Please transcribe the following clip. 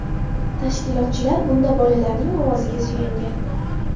Tashkilotchilar bunda bolalarning ovoziga suyangan.